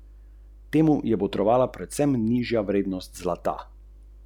Pridi, sveti Marko in nam speci jarko!